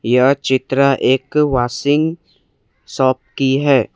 यह चित्र एक वॉशिंग शॉप की है।